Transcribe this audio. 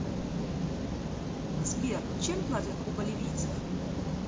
сбер чем платят у боливийцев